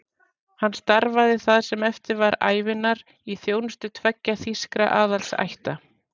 Hann starfaði það sem eftir var ævinnar í þjónustu tveggja þýskra aðalsætta.